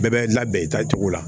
Bɛɛ bɛ labɛn i taa cogo la